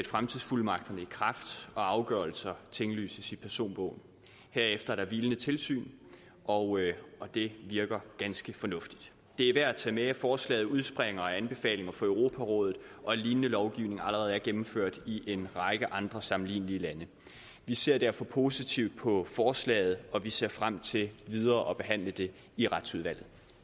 fremtidsfuldmagterne i kraft og afgørelser tinglyses i personbogen herefter er der hvilende tilsyn og det virker ganske fornuftigt det er værd at tage med at forslaget udspringer af anbefalinger fra europarådet og at lignende lovgivning allerede er gennemført i en række andre sammenlignelige lande vi ser derfor positivt på forslaget og vi ser frem til videre at behandle det i retsudvalget